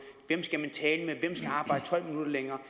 hvem skal man tale med skal arbejde tolv minutter længere